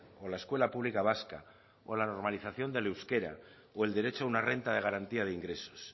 o la escuela pública vasca o la normalización del euskera o el derecho a una renta de garantía de ingresos